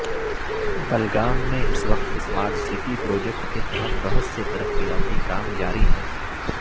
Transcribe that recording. بلگام میں اس وقت اسمارٹ سٹی پروجیکٹ کے تحت بہت سے ترقیاتی کام جاری ہیں